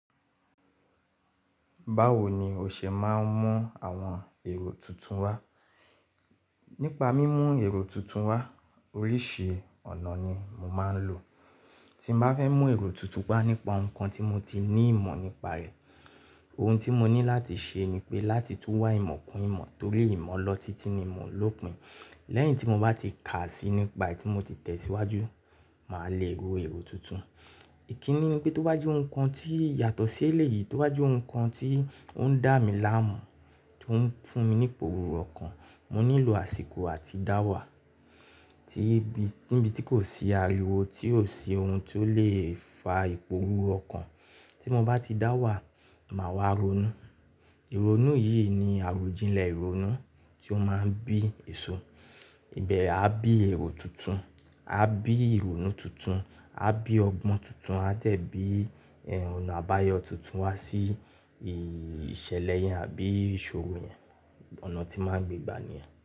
Báwo ni o ṣe máa ń mú àwọn èrò tuntun wá? Nípa mímú èrò tuntun wá, oríṣi ọ̀nà ni mo máa ń lò. Tí n bá fẹ́ mú èrò tútù wá nípa ohun kan tí mo ti ní ìmọ̀ nípa rẹ̀, ohun tí mo ní láti ṣe ni pé láti túwá ìmọ̀ kún ìmọ̀ torí ìmọ̀ ọlọ́títí ni mo ń lò pín. Lẹ́yìn tí mo bá ti kà á sí nípa yí tí mo ti tẹ̀ síwájú, màá le ro èrò tuntun. Ìkíni ni pé tó bá jẹ́ ohun kan tí yàtọ̀ sí èléyìí, tó bá jẹ́ ohun kan tí ó ń dá mi láàmú, tó ń fún mi ní ipò òwúrọ̀ kan, mo nílò àsìkò àti dáwà. Tí ní bí t--, tí n bí tí kò sí ariwo, tí ò sí ohun tó lè fa ipò òwúrọ̀ kan, tí mo bá ti dáwà, màá wá ronú. Ìrònú yìí ni àròjinlẹ̀ ìrònú tí ó máa ń bí èso. Ìbẹ̀ a bí èrò tuntun, a bí ìrònú tuntun, a bí ọgbọ́n tuntun, a dẹ̀ bí ẹrùn ọ̀nà àbáyọ tuntun á sí ìṣẹ̀lẹ̀ yẹn àbí ìṣòro yẹn. Ọ̀nà tí màá ń gbégbá nìyẹn.